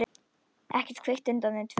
Ekkert kvikt utan þau tvö.